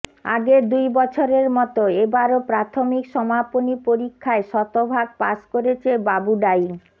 আগের দুই বছরের মতো এবারও প্রাথমিক সমাপনী পরীক্ষায় শতভাগ পাস করেছে বাবুডাইং